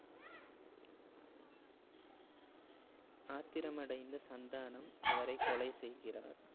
ஆத்திரம் அடைந்த சந்தானம் அவரை கொலை செய்கிறார்